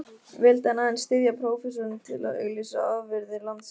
Vildi hann aðeins styðja prófessorinn til að auglýsa afurðir landsins?